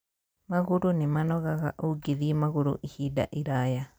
Magũrũ nĩ manogaga ũngĩthiĩ magũrũ ihinda iraya